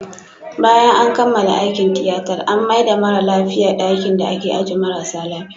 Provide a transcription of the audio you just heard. Bayan an kammala aikin tiyatar, an maida mara lafiyan dakin da ake ajiye marasa lafia